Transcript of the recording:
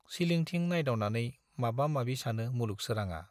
सिलिंथिं नायदावनानै माबा माबि सानो मुलुग सोराङा।